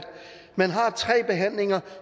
man har tre behandlinger